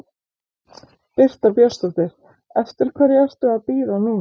Birta Björnsdóttir: Eftir hverju ertu að bíða núna?